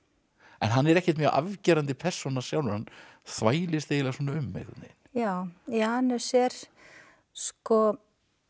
en hann er ekkert mjög afgerandi persóna sjálfur hann þvælist eiginlega um einhvern veginn já Janus er sko